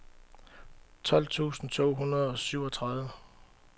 tolv tusind to hundrede og syvogtredive